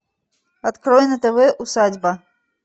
открой на тв усадьба